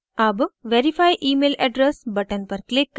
अब verify email address button पर click करें